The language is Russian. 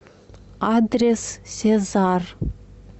адрес сезар